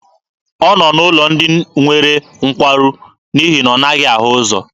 Ọ nọ n'ụlọ ndị nwere nkwarụ n'ihi na ọ naghị ahụ ụzọ.